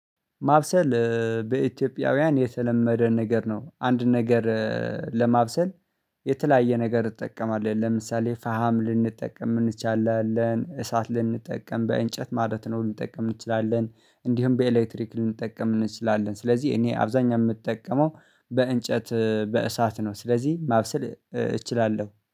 ማብሰል በኢትዮጵያውያን የተለመደ ነገር ነው። አንድ ነገር ለማብሰል የተለያየ ነገር እንጠቀማለን ለምሳሌ ፈሃም ልንጠቀም እንችላለን እሳት ልንጠቀም በእንጨት ማለት ነው ልንጠቀም እንችላለን። እንዲሁም በኤሌክትሪክ ልንጠቀም እንችላለን ስለዚህ እኔ አብዛኛው የምጠቀመው በእንጨት በእሳት ነው። ስለዚህ ማብሰል እችላለሁ